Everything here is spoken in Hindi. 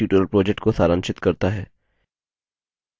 यह spoken tutorial project को सारांशित करता है